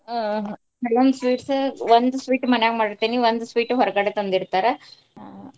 ಹಾ ಕೆಲವಂದ್ sweets ಒಂದ್ sweet ಮನ್ಯಾಗ ಮಾಡೀರ್ತೇನಿ ಒಂದ್ sweet ಹೊರ್ಗಡೆ ತಂದಿರ್ತಾರ ಅಹ್ .